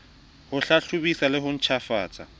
ho hlahlobisa le ho ntjhafatsa